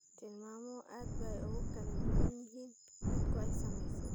Tilmaamuhu aad bay ugu kala duwan yihiin dadka ay saamaysay.